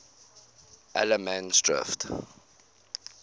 allemansdrift